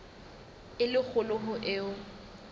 e le kgolo ho eo